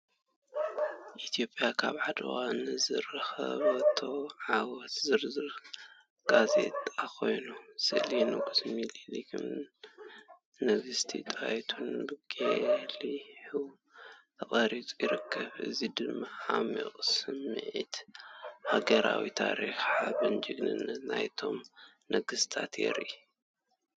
ኢትዮጵያ ኣብ ዓድዋ ንዝረኸበቶ ዓወት ዝዝክር ጋዜጣ ኮይኑ፡ ስእሊ ንጉስ ሚኒሊክን ንጉስቲ ጣይቱን ብጐሊሑ ተቐሪጹ ይርከብ። እዚ ድማ ዓሚቝ ስምዒት ሃገራውነት፡ ታሪኻዊ ሓበንን ጅግንነትን ናይቶም ነገስታት የርኢ ።